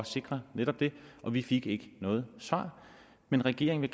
sikre netop det og vi fik ikke noget svar men regeringen